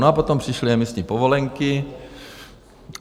No a potom přišly emisní povolenky.